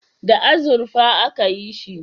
Da azurfa a ka yi shi